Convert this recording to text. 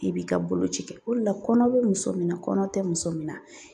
I b'i ka boloci kɛ, o de la kɔnɔ bɛ muso min na, kɔnɔ tɛ muso min na.